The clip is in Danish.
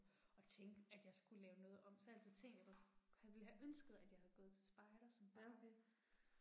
Og tænke, at jeg skulle lave noget om, så har jeg altid tænkt jeg godt, ville have ønsket at jeg havde gået til spejder som barn